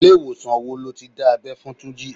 Ilé ìwòsàn wo lo ti dá abẹ́ fún Túnjí?